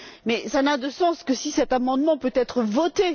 Mais cela n'a de sens que si cet amendement peut être voté.